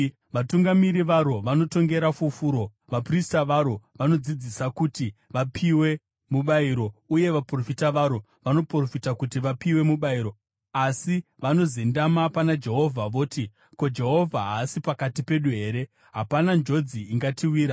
Vatungamiri varo vanotongera fufuro, vaprista varo vanodzidzisa kuti vapiwe mubayiro, uye vaprofita varo vanoprofita kuti vapiwe mubayiro. Asi vanozendama pana Jehovha voti, “Ko, Jehovha haasi pakati pedu here? Hapana njodzi ingatiwira.”